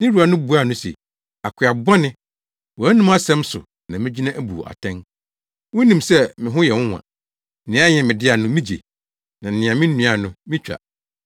“Ne wura no buaa no se, ‘Akoa bɔne, wo anom asɛm so na migyina abu wo atɛn. Wunim sɛ me ho yɛ nwonwa. Nea ɛnyɛ me dea no migye; nea minnuae no, mitwa.